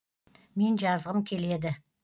мен жазғым келеді